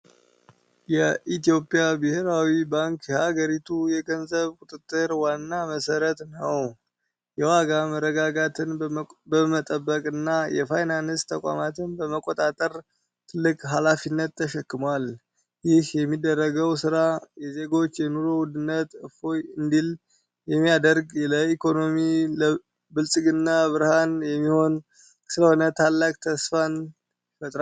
የኢትዮጵያ ብሔራዊ ባንክ የሀገሪቱ የገንዘብ ቁጥጥር ዋና መሠረት ነው። የዋጋ መረጋጋትን በመጠበቅና የፋይናንስ ተቋማትን በመቆጣጠር ትልቅ ኃላፊነት ተሸክሟል። ይህ የሚደረገው ሥራ የዜጎችን የኑሮ ውድነት እፎይ እንዲል የሚያደርግ፣ ለኢኮኖሚው ብልጽግና ብርሃን የሚሆን ስለሆነ ታላቅ ተስፋ ይፈጥርብኛል!